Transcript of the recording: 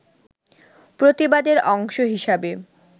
প্রতিবাদের অংশ হিসাবে